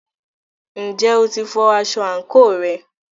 Ǹjẹ́ o ti fọ aṣọ àǹkóò rẹ?